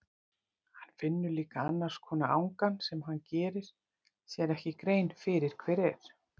Hann finnur líka annars konar angan sem hann gerir sér ekki grein fyrir hver er.